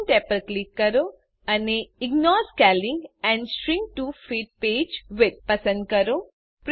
options tab પર click કરો અને ignore scaling and shrink to fit page width પસંદ કરો